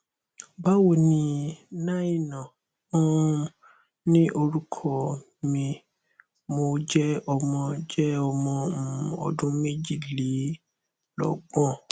ba wo ni naina um ni orukọ mi mo jẹ ọmọ jẹ ọmọ um ọdun mejilelogbon